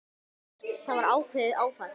Það var ákveðið áfall.